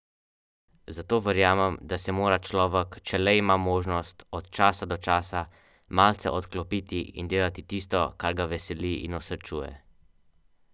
Terminator.